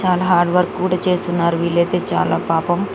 చాలా hard work కూడా చేస్తున్నారు వీలైతే చాలా పాపం .